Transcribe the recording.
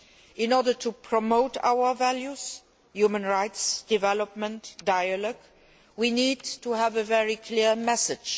In order to promote our values human rights development, dialogue we need to have a very clear message.